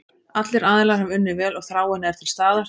Allir aðilar hafa unnið vel og þráin er til staðar.